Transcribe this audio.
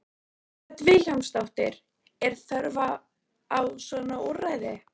Hödd Vilhjálmsdóttir: Er þörf á svona úrræði?